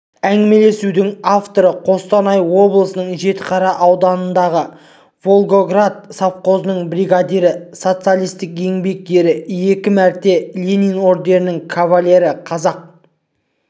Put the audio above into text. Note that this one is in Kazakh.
әңгімелесудің авторы қостанай облысының жетіқара ауданындағы волгоград совхозының бригадирі социалистік еңбек ері екі мәрте ленин орденінің кавалері қазақ